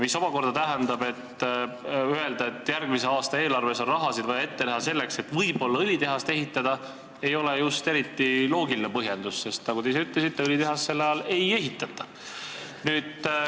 See omakorda tähendab, et kui öelda, et järgmise aasta eelarves on vaja raha ette näha selleks, et võib-olla hakatakse õlitehast ehitama, siis see ei ole just eriti loogiline põhjendus, sest nagu te ise ütlesite, õlitehast sel ajal ei ehitata.